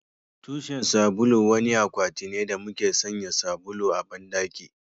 Tushen sabulu wani akwati ne da muke sanya sabulu a bandaki